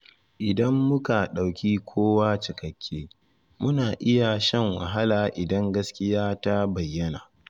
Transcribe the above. Idan muka dauki kowa cikakke, muna iya shan wahala idan gaskiya ta bayyana.